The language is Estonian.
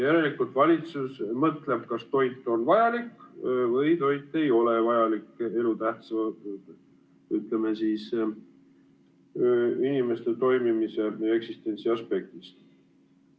Järelikult valitsus mõtleb, kas toit on vajalik või toit ei ole vajalik elutähtsana inimese toimimise ja eksistentsi aspektist.